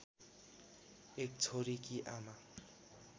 एक छोरीकी आमा